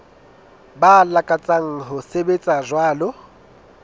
ba lakatsang ho sebetsa jwalo